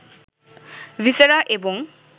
viscera, এবং